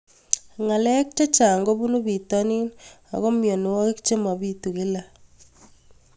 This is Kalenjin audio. Ng'alek chechang' kopunu pitonin ako mianwogik che mapitu kila